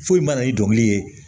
Foyi ma na ni dɔnkili ye